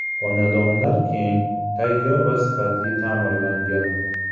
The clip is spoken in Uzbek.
Xonadonlar keng, tayyor va sifatli ta’mirlangan.